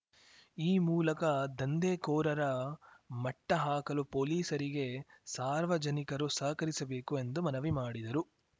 ಈ ಮೂಲಕ ದಂಧೆಕೋರರ ಮಟ್ಟಹಾಕಲು ಪೊಲೀಸರಿಗೆ ಸಾರ್ವಜನಿಕರು ಸಹಕರಿಸಬೇಕು ಎಂದು ಮನವಿ ಮಾಡಿದರು